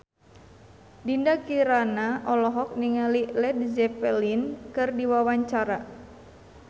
Dinda Kirana olohok ningali Led Zeppelin keur diwawancara